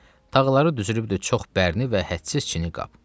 Taxları düzülübdü çox bərni və hədsiz çini qab.